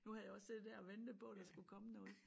Nu havde jeg jo siddet dér og ventet på der skulle komme noget